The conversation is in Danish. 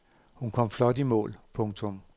Hun kom flot i mål. punktum